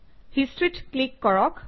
History ত click কৰক